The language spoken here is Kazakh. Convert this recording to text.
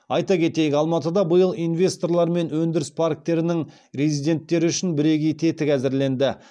айта кетейік алматыда биыл инвесторлар мен өнідіріс парктерінің резидентттері үшін бірегей тетік әзірленді